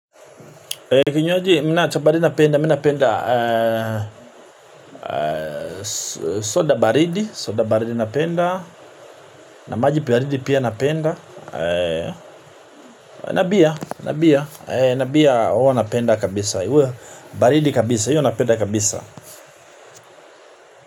Kinywaji mi naacha baridi ni napenda, mi napenda soda baridi, soda baridi napenda, na maji baridi pia napenda, na bia, na bia, na bia, huwa tnapenda kabisa, baridi kabisa, huo napenda kabisa.